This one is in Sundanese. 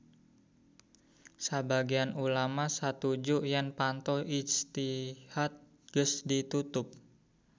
Sabagean ulama satuju yen panto ijtihad geus ditutup